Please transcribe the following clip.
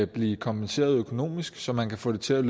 blive kompenseret økonomisk så man kan få det til at